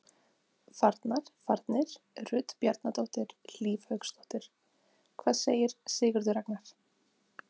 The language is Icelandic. Farnar: Farnir: Rut Bjarnadóttir, Hlíf Hauksdóttir Hvað segir Sigurður Ragnar?